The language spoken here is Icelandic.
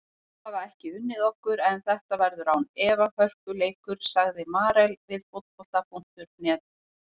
Þeir hafa ekki unnið okkur en þetta verður án efa hörkuleikur, sagði Marel við Fótbolta.net.